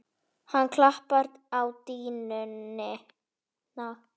Hann klappar á dýnuna.